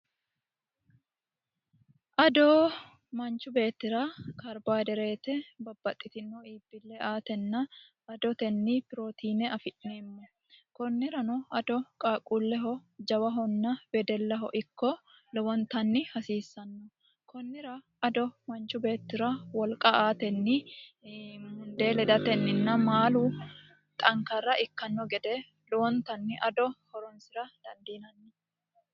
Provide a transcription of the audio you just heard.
ado manchu beettira karbo hayidereete babbaxxitino iibbille aatenna adotenni pirootiine afi'neemmo kunnirano ado qaaqquulleho jawahonna wedellaho ikko lowontanni hasiissanno kunnira ado manchu beettira wolqa aatenni mundee ledatenninna maalu xankarra ikkanno gede lowontanni ado horonsira dandiinanni